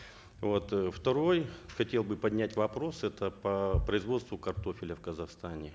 вот э второй хотел бы поднять вопрос это по производству картофеля в казахстане